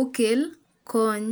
okel kony.